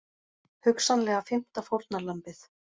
Hugsanlega fimmta fórnarlambið